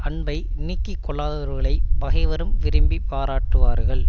அன்பை நீக்கி கொள்ளாதவர்களைப் பகைவரும் விரும்பி பாராட்டுவார்கள்